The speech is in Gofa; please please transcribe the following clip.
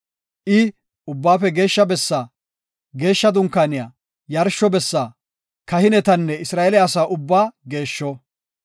I ubbaafe Geeshsha bessaa, Geshsha Dunkaaniya, yarsho bessa, kahinetanne Isra7eele asa ubbaa geeshsho.